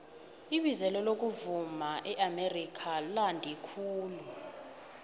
ibizelo lokuvuma eamerika londe khulu